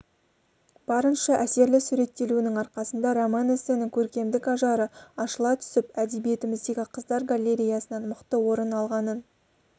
барынша әсерлі суреттелуінің арқасында роман-эссенің көркемдік ажары ашыла түсіп әдебиетіміздегі қыздар галереясынан мықты орын алғанын